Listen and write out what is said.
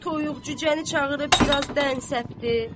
Toyuq-cücəni çağırıb biraz dən səpdi.